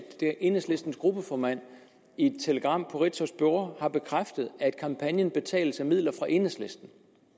enhedslistens gruppeformand i et telegram på ritzaus bureau har bekræftet at kampagnen betales af midler fra enhedslisten